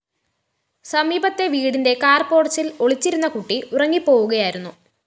സമീപത്തെ വീടിന്റെ കാർ പോര്‍ച്ചില്‍ ഒളിച്ചിരുന്ന കൂട്ടി ഉറങ്ങിപ്പോവുകയായിരുന്നു